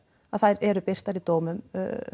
að þær eru birtar í dómum